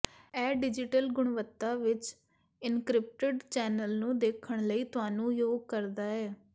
ਇਹ ਡਿਜ਼ੀਟਲ ਗੁਣਵੱਤਾ ਵਿੱਚ ਇਨਕ੍ਰਿਪਟਡ ਚੈਨਲ ਨੂੰ ਦੇਖਣ ਲਈ ਤੁਹਾਨੂੰ ਯੋਗ ਕਰਦਾ ਹੈ